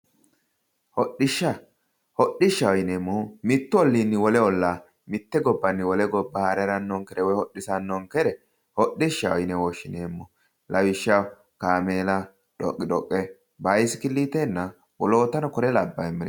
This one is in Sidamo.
Hodhishsha, hodishshaho yineemmohu mitu ollinni wole olla mitu bayichinni wole haare haranonkere woyi hodhisanonkere hodhishshaho yinne woshshineemmo lawishshaho kaameella ,dhoqidhoqe ,bisikilitenna woloottano kuri labbemere.